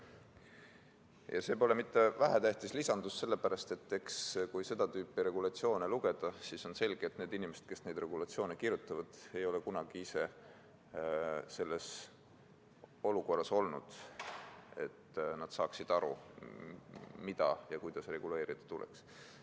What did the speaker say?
See viimane pole mitte vähetähtis lisandus, sellepärast et kui seda tüüpi regulatsioone lugeda, siis on selge, et need inimesed, kes neid regulatsioone kirjutavad, ei ole kunagi ise selles olukorras olnud, et nad saaksid aru, mida ja kuidas reguleerida tuleks.